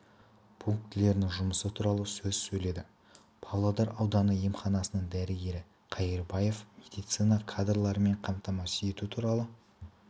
пунктілерінің жұмысы туралы сөз сөйледі павлодар ауданы емханасының дәрігері қайырбаева медицина кадрларымен қамтамасыз ету туралы